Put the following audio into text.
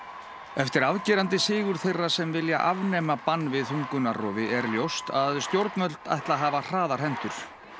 eftir afgerandi sigur þeirra sem vilja afnema bann við þungunarrofi er ljóst að stjórnvöld ætla að hafa hraðar hendur